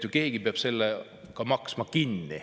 Keegi peab selle ka kinni maksma.